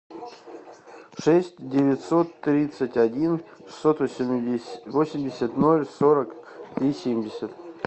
шесть девятьсот тридцать один шестьсот восемьдесят ноль сорок три семьдесят